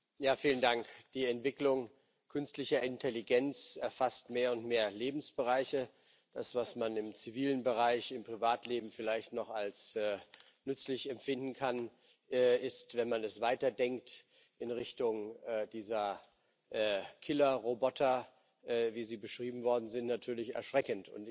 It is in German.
Herr Präsident! Die Entwicklung künstlicher Intelligenz erfasst mehr und mehr Lebensbereiche. Das, was man im zivilen Bereich, im Privatleben vielleicht noch als nützlich empfinden kann, ist, wenn man das weiterdenkt in Richtung dieser Killerroboter, wie sie beschrieben worden sind, natürlich erschreckend.